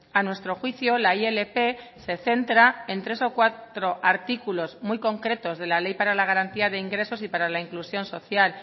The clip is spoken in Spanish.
a nuestro juicio la ilp se centra en tres o cuatro artículos muy concretos de la ley para la garantía de ingresos y para la inclusión social